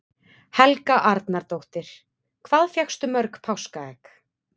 Helga Arnardóttir: Hvað fékkstu mörg páskaegg?